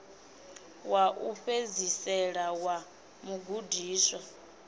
wa u fhedzisela wa mugudiswa